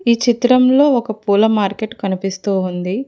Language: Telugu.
ఈ చిత్రంలో ఒక పూల మార్కెట్ కనిపిస్తూ ఉంది.